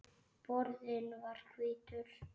Borðinn var hvítur.